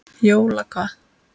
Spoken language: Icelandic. Jóla hvað?